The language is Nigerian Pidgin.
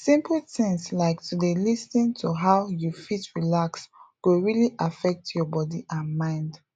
simple things like to d lis ten to how you fit relax go really affect your body and mind